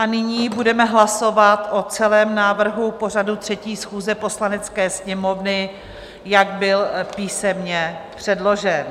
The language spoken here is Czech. A nyní budeme hlasovat o celém návrhu pořadu 3. schůze Poslanecké sněmovny, jak byl písemně předložen.